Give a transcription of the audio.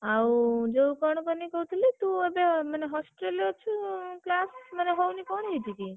ଆଉ ଯୋଉ କଣ କହିଲୁ କହୁଥିଲି ତୁ ଏବେ ମାନେ hostel ରେ ଅଛୁ, class ମାନେ ହଉନି କଣ ହେଇଛି କି?